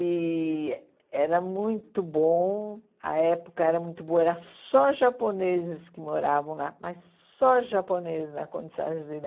E era muito bom, a época era muito boa, era só os japoneses que moravam lá, mas só os japoneses na Conde de Sarzeda